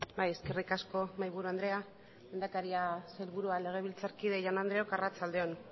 bai eskerrik asko mahaiburu andrea lehendakaria sailburua legebiltzarkide jaun andreok arratsalde on